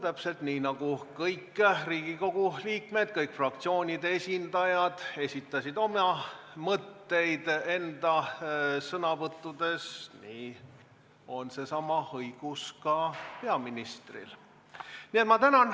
Täpselt nii nagu kõik Riigikogu liikmed, kõik fraktsioonide esindajad esitasid oma mõtteid enda sõnavõttudes, nii on seesama õigus ka peaministril.